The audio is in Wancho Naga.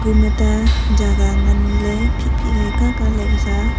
ta jaga nganley phik phik ley ka ka Kasa.